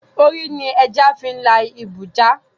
Orí ni ẹja fi ń la ibú ja